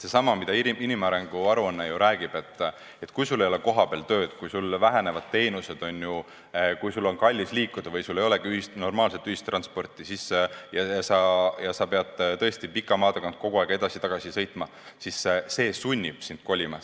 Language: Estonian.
Seesama, mida inimarengu aruanne räägib: kui sul ei ole kohapeal tööd, kui vähenevad teenused, kui on kallis liikuda või ei olegi normaalset ühistransporti ja sa pead pika maa tagant kogu aeg edasi-tagasi sõitma, siis see sunnib sind kolima.